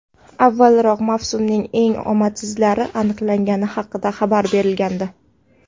Avvalroq mavsumning eng omadsizlari aniqlangani haqida xabar berilgandi.